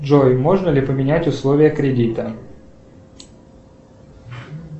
джой можно ли поменять условия кредита